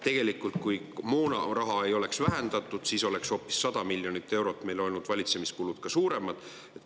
Tegelikult, kui moonaraha ei oleks vähendatud, oleks valitsemiskulud meil hoopis 100 miljonit eurot suuremad olnud.